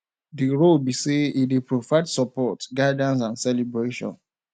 di role be say e dey provide support guidance and celebration